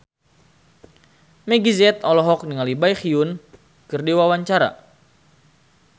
Meggie Z olohok ningali Baekhyun keur diwawancara